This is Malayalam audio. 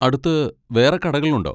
അടുത്ത് വേറെ കടകളുണ്ടോ?